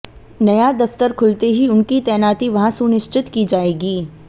नया दफ्तर खुलते ही उनकी तैनाती वहां सुनिश्चित की जाएगी